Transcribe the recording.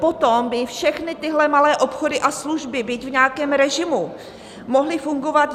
Potom by všechny tyhle malé obchody a služby, byť v nějakém režimu, mohly fungovat.